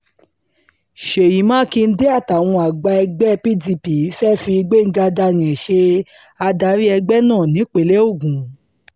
ṣèyí mákindé àtàwọn àgbà ẹgbẹ́ pdp fée fi gbẹ̀ngàn daniel ṣe adarí ẹgbẹ́ náà nípínlẹ̀ ogun